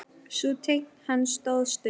Sú tign hans stóð stutt.